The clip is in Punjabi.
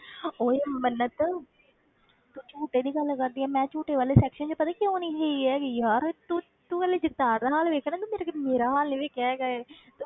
ਓਏ ਮੰਨਤ ਤੂੰ ਝੂਟੇ ਦੀ ਗੱਲ ਕਰਦੀ ਹੈਂ, ਮੈਂ ਝੂਟੇ ਵਾਲੇ section ਵਿੱਚ ਪਤਾ ਕਿਉਂ ਨੀ ਗਈ ਹੈਗੀ ਯਾਰ ਤੂੰ ਤੂੰ ਹਾਲੇ ਜਗਤਾਰ ਦਾ ਹਾਲ ਵੇਖਿਆ ਨਾ ਤੂੰ ਕਦੇ ਮੇਰਾ ਹਾਲ ਨੀ ਵੇਖਿਆ ਹੈਗਾ ਹੈ,